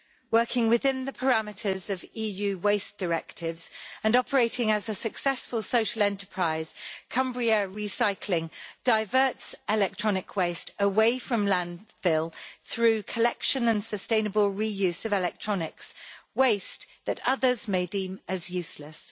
Working within the parameters of EU waste directives and operating as a successful social enterprise, Cumbria Recycling diverts electronic waste away from landfill through the collection and sustainable reuse of electronics waste that others may deem as useless.